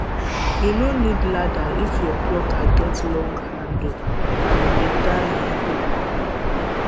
you no need ladder if your plucker get long handle and better um hook